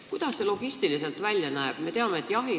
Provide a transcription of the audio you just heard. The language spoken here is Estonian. Kuidas see logistiliselt välja nägema hakkab?